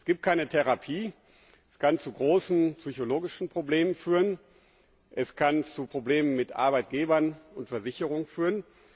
Es gibt keine Therapie, es kann zu großen psychologischen Problemen führen, es kann zu Problemen mit Arbeitgebern und Versicherungen führen.